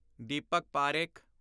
Deepak Parekh